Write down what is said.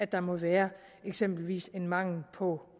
der må være eksempelvis en mangel på